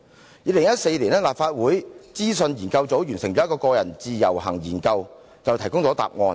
在2014年，立法會資料研究組一項有關個人自由行研究便就此提供了答案。